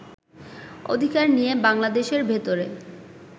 অধিকার নিয়ে বাংলাদেশের ভেতরে